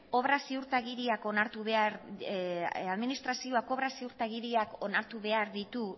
obra ziurtagiriak onartu behar ditu